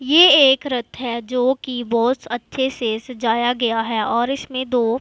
ये एक रथ है जोकि बहोत अच्छे से सजाया गया है और इसमें दो--